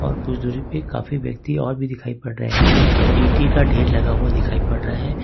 काफी व्यक्ति और भी दिखाई पड़ रहे हैं पीके का ढेर लगा हुआ दिखाई पड़ रहा है।